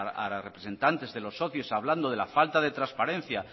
a los representantes de los socios hablando de la falta de transparencia